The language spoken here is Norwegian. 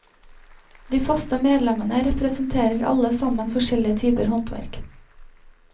De faste medlemmene representerer alle sammen forskjellige typer håndverk.